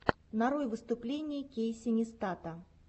нарой выступления кейси нистата